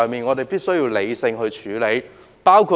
我們必須理性處理這個問題。